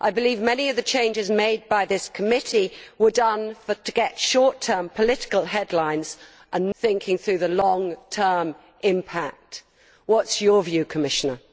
I believe many of the changes made by this committee were made to get short term political headlines without thinking through the long term impact. What is your view, Commissioner?